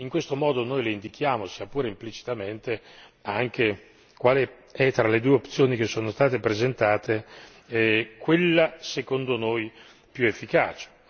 In questo modo, noi le indichiamo sia pure implicitamente anche quale è tra le due opzioni che sono state presentate, quella, secondo noi, più efficace